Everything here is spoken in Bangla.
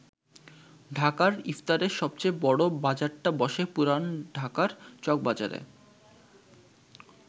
ঢাকার ইফতারের সবচেয়ে বড় বাজারটা বসে পুরান ঢাকার চকবাজারে।